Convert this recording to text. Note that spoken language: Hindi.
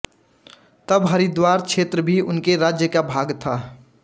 तब हरिद्वार क्षेत्र भी उसके राज्य का भाग था